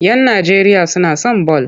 Yan Najeriya suna son bal.